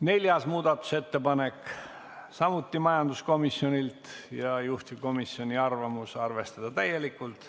Neljas muudatusettepanek on samuti majanduskomisjonilt ja juhtivkomisjoni arvamus: arvestada seda täielikult.